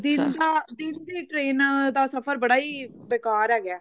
ਦਿਨ ਦਾ ਦਿਨ ਦੀ train ਦਾ ਸਫਰ ਬੜਾ ਹੀ ਬੇਕਾਰ ਹੈਗਾ